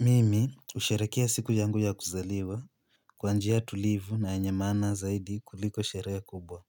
Mimi husherehekea siku yangu ya kuzaliwa. Kwa njia tulivu na yenye maana zaidi kuliko sherehe kubwa.